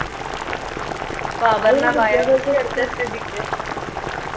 സ്ഥിതിക്ക്